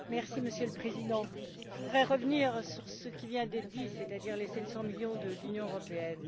Monsieur le Président, je voudrais revenir sur ce qui vient d'être dit, c'est à dire les 700 millions de l'Union européenne.